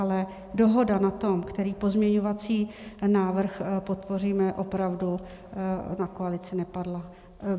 Ale dohoda na tom, který pozměňovací návrh podpoříme, opravdu na koalici nepadla.